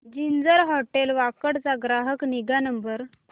ginger hotel Wakad चा ग्राहक निगा नंबर